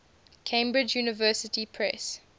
cambridge university press